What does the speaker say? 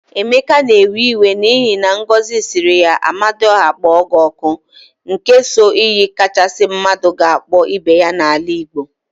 Emeka na-ewe iwe n'ihi na Ngozi siri ya "amadiọha kpọọ gị ọkụ," n ke so iyi kachasị mmadụ ga-akpọ ibe ya n'ala Igbo.